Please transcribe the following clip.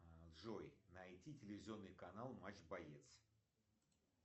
джой найди телевизионный канал матч боец